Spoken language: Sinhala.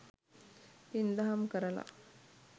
පින්දහම් කරල